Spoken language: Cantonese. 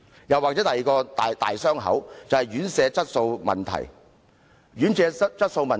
另一個"傷口"是院舍質素問題。